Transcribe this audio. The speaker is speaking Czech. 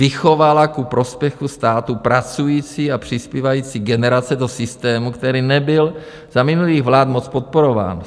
Vychovala ku prospěchu státu pracující a přispívající generace do systému, který nebyl za minulých vlád moc podporován.